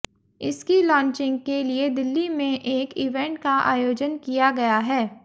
इसकी लॉन्चिंग के लिए दिल्ली में एक इवेंट का आयोजन किया गया है